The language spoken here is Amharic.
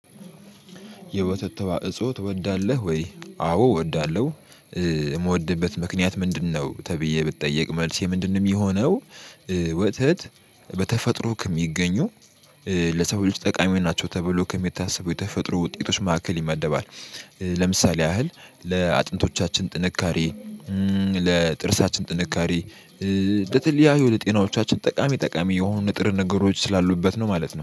የወተት ተዋእጾ ትወዳለሁ ወይ አዎ እወዳለሁ የምወድበት ምክንያት ምንድነው? ተብዬ ብትጠየቅ መልሴ ምንድንም የሚሆነው። ወተት በተፈጥሮ ከሚገኙ ለሰው ልጅ ጠቃሚ ሆይ ናቸው ተብሎ ከሚታሰበው የተፈጥሮ ውጤቶች ማዕከል ይመደባል። ለምሳሌ ያህል ለአጥንቶቻችን ጥንካሬ ለጥርሳችን ጥንካሬ ለተለያዩ ለጤናዎቻችን ጠቃሚ ጠቃሚ የሆኑ ንጥር ነገሮች ስላሉበት ነው ማለት ነው